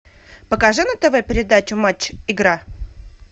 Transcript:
покажи на тв передачу матч игра